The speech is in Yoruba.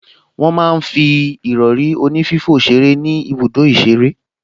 Wọ́n máa ń fi ìrọrí onífífò ṣeré ní ibùdó ìṣeré